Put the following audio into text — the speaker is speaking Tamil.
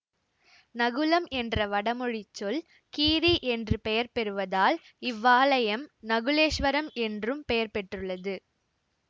நகுலம் என்ற வடமொழிச்சொல் கீரி என்று பெயர் பெறுவதால் இவ்வாலயம் நகுலேஸ்வரம் என்றும் பெயர் பெற்றுள்ளது